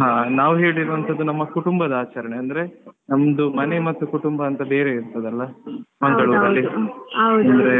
ಹಾ ನಾವ್ ಹೇಳಿರುವಂತದ್ದು ನಮ್ಮ ಕುಟುಂಬದ ಆಚರಣೆ ಅಂದ್ರೆ ನಮ್ದು ಮನೆ ಮತ್ತು ಕುಟುಂಬ ಅಂತ ಬೇರೆ ಇರ್ತದಲ್ಲ Mangalore ಅಲ್ಲಿ ಅಂದ್ರೆ